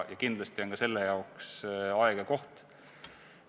Kindlasti on ka selle jaoks aeg ja koht.